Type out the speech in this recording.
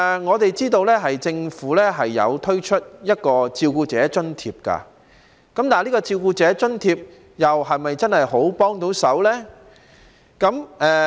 我們知道政府推出了照顧者津貼，但這項津貼是否真的有很大幫助呢？